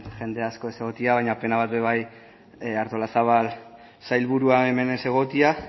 jende asko ez egotea baina pena bat be bai artolazabal sailburua hemen ez egotea